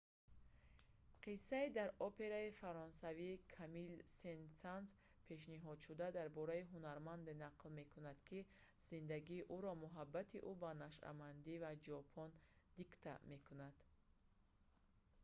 қиссаи дар операи фаронсавии камилл сен-санс пешниҳодшуда дар бораи ҳунарманде нақл мекунад ки зиндагии ӯро муҳаббати ӯ ба нашъамандӣ ва ҷопон дикта мекунад